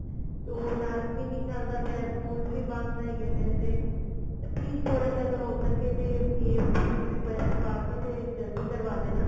ਤੇ ਹੁਣ ਉਹ APP ਵੀ ਨਹੀਂ ਚਲਦਾ ਪਿਆ schools ਵੀ ਬੰਦ ਹੈਗੇ ਨੇ ਤੇ at least ਥੋੜਾ ਜਾ ਅਗਰ ਹੋ ਸਕੇ ਤੇ ਇਸ ਤਰੀਕ ਨੂੰ request ਪੂਆ ਕੇ ਤੇ ਜਲਦੀ ਕਰਵਾ ਦੇਣਾ